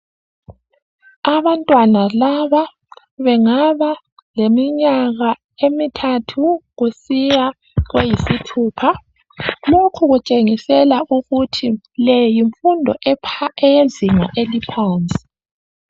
Abantwana laba bengaba leminyaka emithathu kusiya kweyisithupha. Lokhu kutshengisela ukuthi leyi yimfundo eyezinga eliphansi.